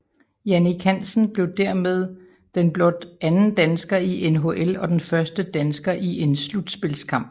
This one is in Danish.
Jannik Hansen blev dermed den blot anden dansker i NHL og den første dansker i en slutspilskamp